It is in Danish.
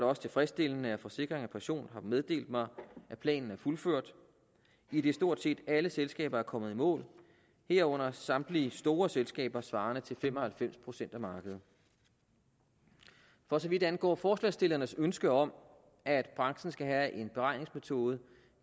også tilfredsstillende at forsikring pension har meddelt mig at planen er fuldført idet stort set alle selskaber er kommet i mål herunder samtlige store selskaber svarende til fem og halvfems procent af markedet for så vidt angår forslagsstillernes ønske om at branchen skal have en beregningsmetode